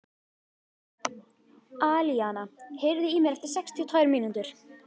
Alíana, heyrðu í mér eftir sextíu og tvær mínútur.